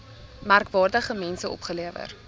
merkwaardige mense opgelewer